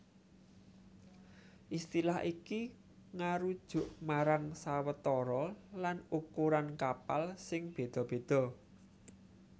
Istilah iki ngarujuk marang sawetara lan ukuran kapal sing béda béda